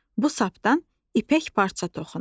Bu sapdan ipək parça toxunur.